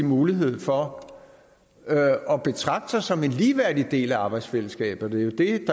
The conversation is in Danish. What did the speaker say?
mulighed for at betragte sig som en ligeværdig del af arbejdsfællesskabet